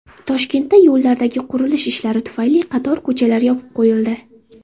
Toshkentda yo‘llardagi qurilish ishlari tufayli qator ko‘chalar yopib qo‘yildi.